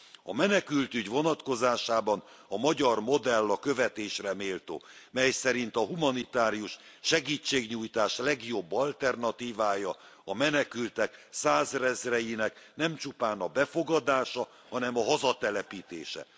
A menekültügy vonatkozásában a magyar modell a követésre méltó, mely szerint a humanitárius segítségnyújtás legjobb alternatívája a menekültek százezreinek nem csupán a befogadása, hanem a hazatelepítése.